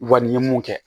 Wa ni ye mun kɛ